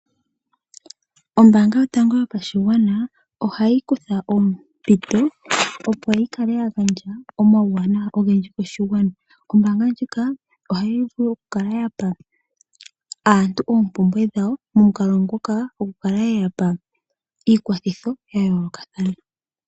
Ombaanga yotango yopashigwana ohayi kutha ompito opo yi kale ya gandja omauwanawa ogendji koshigwana. Ombaanga ndjika ohayi vulu oku kala ya pa aantu oompumbwe dhawo, momukalo ngoka oku kala ye ya pa iikwathitho ya yoolokathana.